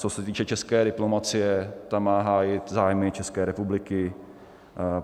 Co se týče české diplomacie, ta má hájit zájmy České republiky.